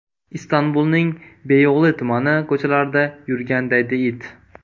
Istanbulning Beyo‘g‘li tumani ko‘chalarida yurgan daydi it.